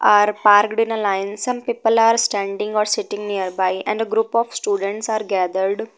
Are parked in a line. Some people are standing or sitting nearby and a group of students are gathered.